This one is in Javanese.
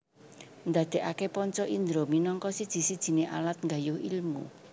Ndadekake panca indra minangka siji sijine alat nggayuh ilmu